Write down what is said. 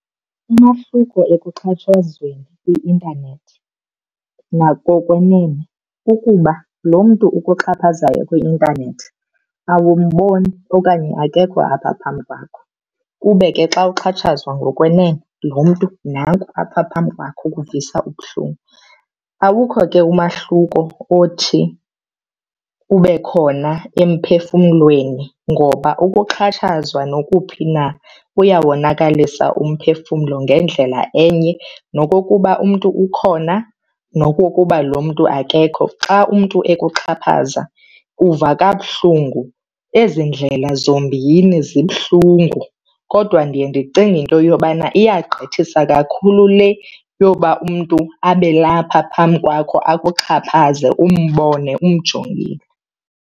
Umahluko ekuxhatshazweni kwi-intanethi nakokwenene kukuba lo mntu ukuxhaphazayo kwi-intanethi awumboni okanye akekho apha phambi kwakho. Ube ke xa uxhatshazwa ngokwenene lo mntu nanku apha phambi kwakho ukuvisa ubuhlungu. Awukho ke umahluko othi ube khona emphefumlweni ngoba ukuxhatshazwa nokuphi na kuyawonakalisa umphefumlo ngendlela enye nokokuba umntu ukhona nokokuba lo mntu akekho. Xa umntu ekuxhaphaza uva kabuhlungu. Ezi ndlela zombini zibuhlungu kodwa ndiye ndicinge into yobana iyagqithisa kakhulu le yoba umntu abe lapha phambi kwakho akuxhaphaze umbone, umjongile.